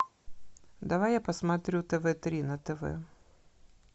давай я посмотрю тв три на тв